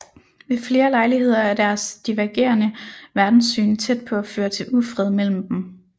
Ved flere lejligheder er deres divergerende verdenssyn tæt på at føre til ufred imellem dem